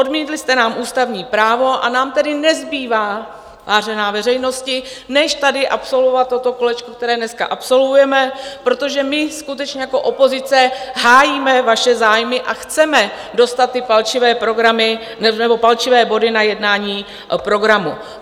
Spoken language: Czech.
Odmítli jste nám ústavní právo, a nám tedy nezbývá, vážená veřejnosti, než tady absolvovat toto kolečko, které dneska absolvujeme, protože my skutečně jako opozice hájíme vaše zájmy a chceme dostat ty palčivé body na jednání programu.